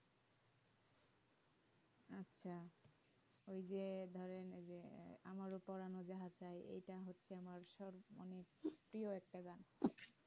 আছে ওই যে ধরেন যে আমরা পোড়ানো যাহা চায় ইটা হচ্ছে আমার সব প্রিয় একটা গান